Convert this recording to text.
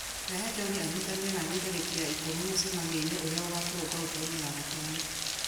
rehe john anyitanĩre naniĩ tarĩki ya ikũmi mũcemanio-inĩ ũrĩa ũgakorwo ngoroba-inĩ ya gatano